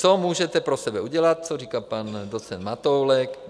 Co můžete pro sebe udělat, co říká pan docent Matoulek?